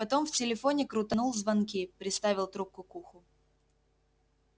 потом в телефоне крутанул звонки приставил трубку к уху